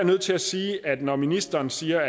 nødt til at sige at når ministeren siger